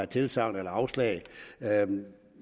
tilsagn eller afslag